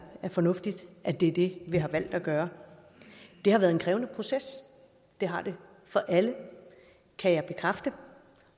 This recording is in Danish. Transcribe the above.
fornuftigt at det er det vi har valgt at gøre det har været en krævende proces det har det for alle kan jeg bekræfte